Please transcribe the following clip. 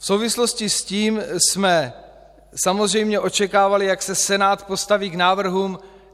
V souvislosti s tím jsme samozřejmě očekávali, jak se Senát postaví k návrhům.